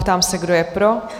Ptám se, kdo je pro?